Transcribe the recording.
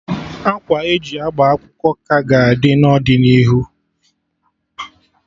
Akwa e ji agba akwụkwọ ka ga-adị n'ọdịnihu